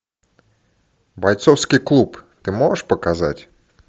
бойцовский клуб ты можешь показать